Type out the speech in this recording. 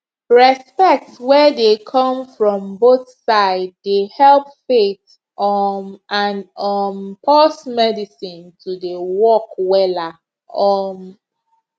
respect wey dey come from both side dey help faith um and um pause medicine to dey work wella um